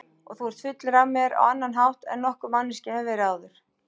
Og þú ert fullur af mér á annan hátt en nokkur manneskja hefur áður verið.